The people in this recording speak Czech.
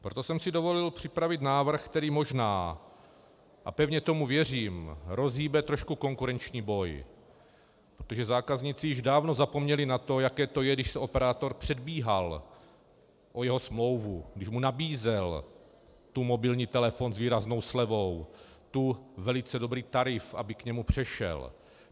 Proto jsem si dovolil připravit návrh, který možná, a pevně tomu věřím, rozhýbe trošku konkurenční boj, protože zákazníci již dávno zapomněli na to, jaké to je, když se operátor předbíhal o jeho smlouvu, když mu nabízel tu mobilní telefon s výraznou slevou, tu velice dobrý tarif, aby k němu přešel.